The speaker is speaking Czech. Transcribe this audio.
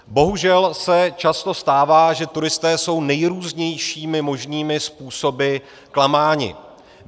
Bohužel se často stává, že turisté jsou nejrůznějšími možnými způsoby klamáni.